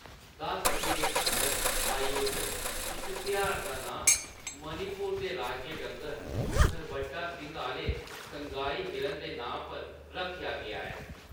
दस दिनें तक्कर आयोजत इस तेहार दा नांऽ मणिपुर दे राज्य डंगर, भरभट्टा सिंग्ग आह्‌‌‌ले संगाई हिरन दे नांऽ पर रक्खेआ गेआ ऐ।